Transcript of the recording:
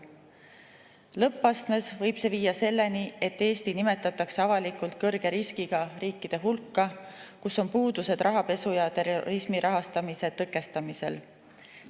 Lõppastmes võib see viia selleni, et Eesti nimetatakse avalikult kõrge riskiga riigiks, kus on puudusi rahapesu ja terrorismi rahastamise tõkestamisel.